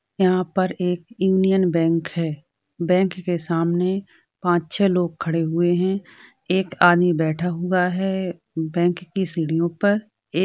यहाँ पर एक यूनियन बैंक है बैंक के सामने पाँच छे लोग खड़े हुए हैं एक आदमी बैठा हुआ है बैंक की सीढ़ियो पर ए --